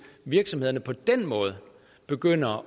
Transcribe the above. virksomhederne på den måde begynder